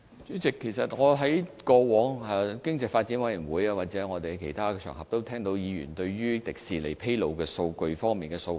主席，我在經濟發展事務委員會或其他場合，也曾經聽到議員就迪士尼披露數據方面表達的訴求。